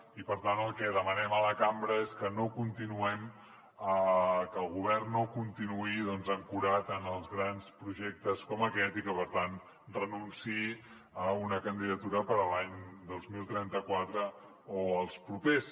i per tant el que demanem a la cambra és que no continuem que el govern no continuï ancorat en els grans projectes com aquest i que per tant renunciï a una candidatura per a l’any dos mil trenta quatre o els propers